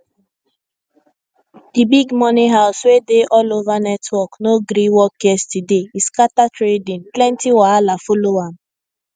di big money house wey dey all over network no gree work yesterday e scatter trading plenty wahala follow am